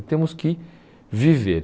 E temos que viver.